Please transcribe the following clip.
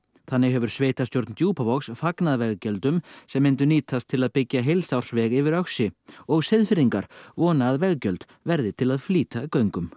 þannig hefur sveitarstjórn Djúpavogs fagnað veggjöldum sem myndu nýtast til að byggja heilsársveg yfir Öxi og Seyðfirðingar vona að veggjöld verði til flýta göngum